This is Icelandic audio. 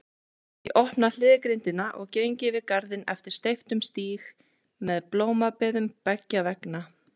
Ég opna hliðgrindina og geng yfir garðinn eftir steyptum stíg með blómabeðum beggja vegna.